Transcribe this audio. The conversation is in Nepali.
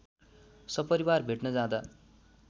सपरिवार भेट्न जाँदा